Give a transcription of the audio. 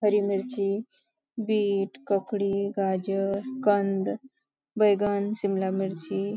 हरी मिर्ची बीट ककड़ी गाजर कंध बैगन शिमला मिर्ची.